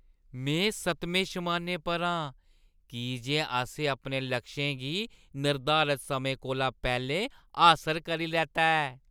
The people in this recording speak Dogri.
में सतमें शमानै पर आं की जे असें अपने लक्षें गी निर्धारत समें कोला पैह्‌लें हासल करी लैता ऐ!